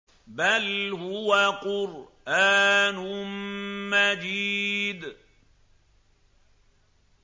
بَلْ هُوَ قُرْآنٌ مَّجِيدٌ